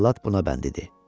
Cəllad buna bənd idi.